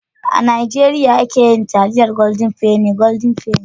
A Najeriya ake yi taliyar goldin feni. (Golden penny)